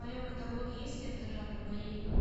в твоем каталоге есть лента жанра боевик